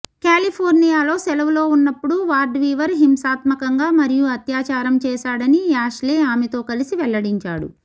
కాలిఫోర్నియాలో సెలవులో ఉన్నప్పుడు Ward Weaver హింసాత్మకంగా మరియు అత్యాచారం చేశాడని యాష్లే ఆమెతో కలసి వెల్లడించాడు